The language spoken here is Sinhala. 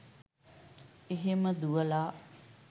එහෙම දුවලා